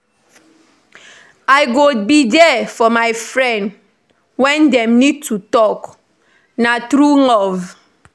I go be there for my friend wen dem need to talk; na true love.